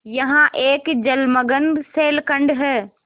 यहाँ एक जलमग्न शैलखंड है